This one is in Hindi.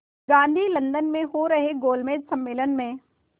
गांधी लंदन में हो रहे गोलमेज़ सम्मेलन में